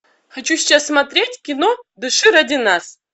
хочу сейчас смотреть кино дыши ради нас